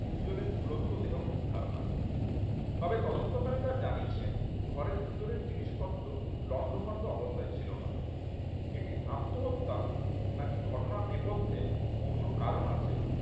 তিনজনের ঝুলন্ত দেহ উদ্ধার হয় তবে তদন্তকারীরা জানিয়েছেন ঘরের ভেতরের জিনিসপত্র লণ্ডভণ্ড অবস্থায় ছিল না এটি আত্মহত্যা নাকি ঘটনার নেপথ্যে অন্য কারণ আছে।